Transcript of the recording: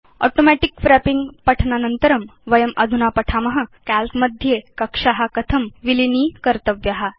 automatic wrapping पठनानन्तरं वयम् अधुना पठिष्याम काल्क मध्ये कक्षा कथं विलीनीकर्तव्या इति